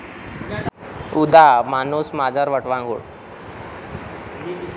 उदा. माणूस, मांजर, वटवाघूळ